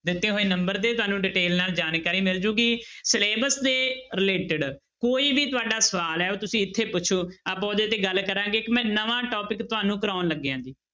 ਦਿੱਤੇ ਹੋਏ number ਤੇ ਹੀ ਤੁਹਾਨੂੰ detail ਨਾਲ ਜਾਣਕਾਰੀ ਮਿਲ ਜਾਏਗੀ syllabus ਦੇ related ਕੋਈ ਵੀ ਤੁਹਾਡਾ ਸਵਾਲ ਹੈ ਉਹ ਤੁਸੀਂ ਇੱਥੇ ਪੁੱਛੋ, ਆਪਾਂ ਉਹਦੇ ਤੇ ਗੱਲ ਕਰਾਂਗੇ ਇੱਕ ਮੈਂ ਨਵਾਂ topic ਤੁਹਾਨੂੰ ਕਰਵਾਉਣ ਲੱਗਿਆ ਜੀ।